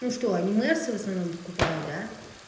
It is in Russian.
ну что аниме всё в основном покупают да